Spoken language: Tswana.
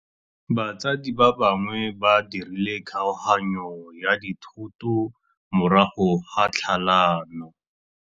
Batsadi ba gagwe ba dirile kgaoganyô ya dithoto morago ga tlhalanô.